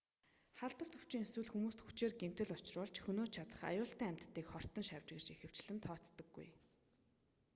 халдварт өвчин эсвэл хүмүүст хүчээр гэмтэл учруулж хөнөөж чадах аюултай амьтдыг хортон шавж гэж ихэвчлэн тооцдоггүй